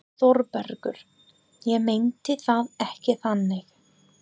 ÞÓRBERGUR: Ég meinti það ekki þannig.